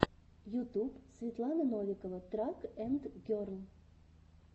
ютюб светлана новикова трак энд герл